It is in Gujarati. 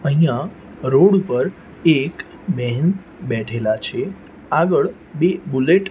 અહીંયા રોડ ઉપર એક બેહન બેઠેલા છે આગળ બે બુલેટ --